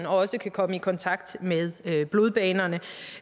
også kan komme i kontakt med blodbanerne